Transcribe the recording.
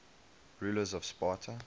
rulers of sparta